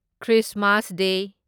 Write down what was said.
Christmas ꯗꯦ